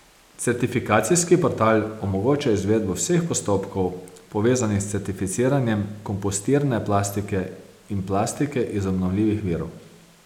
Certifikacijski portal omogoča izvedbo vseh postopkov, povezanih s certificiranjem kompostirne plastike in plastike iz obnovljivih virov.